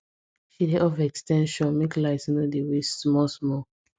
she dey off ex ten sion make light no dey waste small small